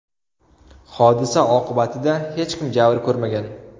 Hodisa oqibatida hech kim jabr ko‘rmagan.